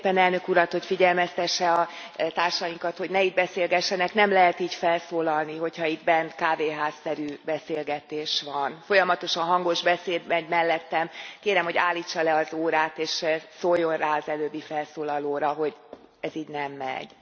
Kérném szépen az Elnök Urat, hogy figyelmeztesse a társainkat, hogy ne itt beszélgessenek, nem lehet így felszólalni, hogyha itt bent kávéház szerű beszélgetés van. Folyamatosan hangos beszéd megy mellettem, kérem, hogy állítsa le az órát, és szóljon rá az előbbi felszólalóra, hogy ez így nem megy.